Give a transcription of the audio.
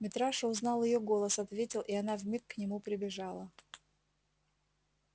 митраша узнал её голос ответил и она вмиг к нему прибежала